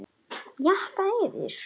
Jakka yfir?